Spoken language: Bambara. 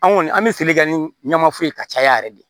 An kɔni an bɛ feere kɛ ni ɲamafuru ye ka caya yɛrɛ de